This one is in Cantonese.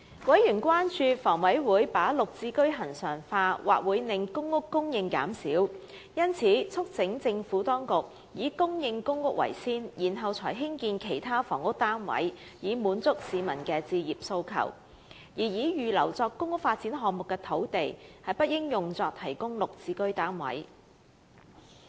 委員關注到，房委會把綠置居恆常化，或會令公屋供應減少，因此促請政府當局優先供應公屋，然後才提供其他房屋單位以滿足市民的置業訴求；而預留作公屋發展項目的土地，不應作為提供綠置居單位之用。